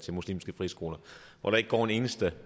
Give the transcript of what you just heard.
til muslimske friskoler hvor der ikke går en eneste